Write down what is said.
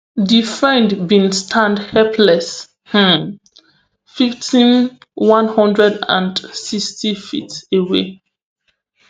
di friend bin stand helpless um fiftym one hundred and sixty ft away